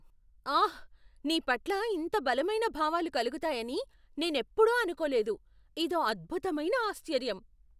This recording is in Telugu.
ఆహ్! నీ పట్ల ఇంత బలమైన భావాలు కలుగుతాయని నేనెప్పుడూ అనుకోలేదు. ఇదో అద్భుతమైన ఆశ్చర్యం.